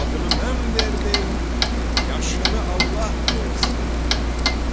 Adını mən verdim, yaşını Allah versin dedi.